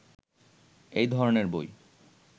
এ ধরনের বই